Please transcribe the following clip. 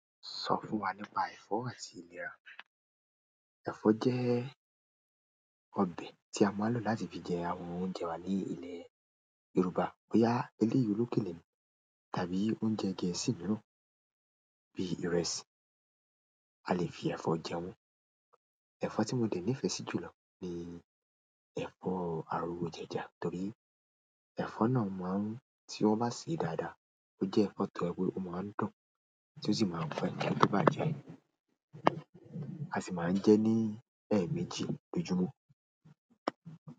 Sọ fún wa nípa ẹ̀fọ́ àti ìlera. Ẹ̀fọ́ jẹ́ ọbẹ̀ tí a máa ń lò láti fi jẹ àwọn oúnjẹ wa ní ilẹ̀ Yorùbá. Bóyá eléyọrú kèlè tán tàbí oúnjẹ gẹ̀ẹ́sì mìíràn bí ìrẹsì, a lè fi ẹ̀fọ́ jẹ wọ́n. Ẹ̀fọ́ tí mo dẹ̀ nífẹ̀ẹ́ sí jùlọ ni ẹ̀fọ́ àwọn òjẹ̀ja torí ẹ̀fọ́ náà má ń tí wọ́n bá sèé dáadáa. Ó jẹ́ ẹ̀fọ́ kan tó jẹ́ pé ó máa ń dùn, tí ó sì máa fún ẹnìkan níbàjẹ́. A sì máa ń jẹ ẹ́ ní ẹ̀ẹ̀méjì lójúmọ́.